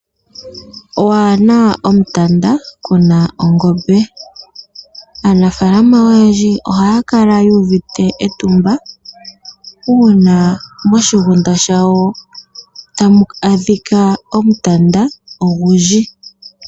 Waana omtanda kuna ongobe. Aanafaalama oyendji ohaya kala yuuvite etumba uuna moshigunda shawo tamu adhika omutanda ogundji.